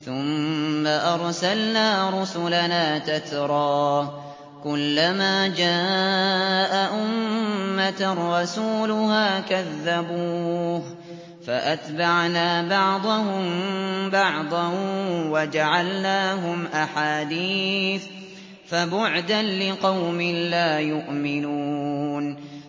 ثُمَّ أَرْسَلْنَا رُسُلَنَا تَتْرَىٰ ۖ كُلَّ مَا جَاءَ أُمَّةً رَّسُولُهَا كَذَّبُوهُ ۚ فَأَتْبَعْنَا بَعْضَهُم بَعْضًا وَجَعَلْنَاهُمْ أَحَادِيثَ ۚ فَبُعْدًا لِّقَوْمٍ لَّا يُؤْمِنُونَ